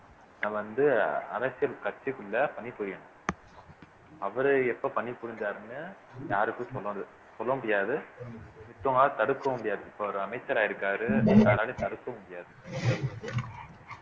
நம்ம வந்து அரசியல் கட்சிக்குள்ள பணி புரியணும் அவரு எப்ப பணிபுரிஞ்சாருன்னு யாருக்கு சொன்னது சொல்ல முடியாது மத்தவங்களால தடுக்கவும் முடியாது இப்ப அவரு அமைச்சராயிருக்காரு யாராலயும் தடுக்கவும் முடியாது